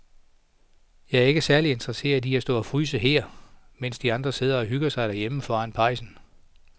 Jeg er ikke særlig interesseret i at stå og fryse her, mens de andre sidder og hygger sig derhjemme foran pejsen.